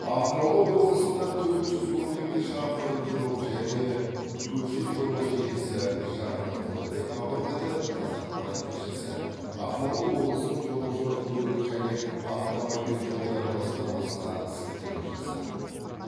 ақмола облысында төрт жүз он екі шақырым жол және көше жолы желісі жаңғыртылды деп хабарлайды қазақпарат тілшісі ақмола облысының жолаушылар көлігі және автомобиль жолдары басқармасына сілтеме жасап